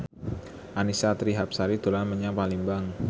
Annisa Trihapsari dolan menyang Palembang